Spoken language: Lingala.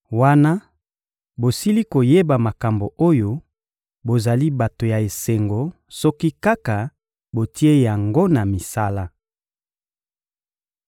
Wana bosili koyeba makambo oyo, bozali bato ya esengo soki kaka botie yango na misala.